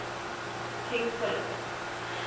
king philip